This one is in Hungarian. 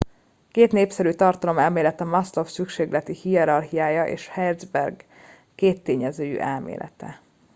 két népszerű tartalomelmélet a maslow szükségleti hierarchiája és herzberg kéttényezőjű elmélete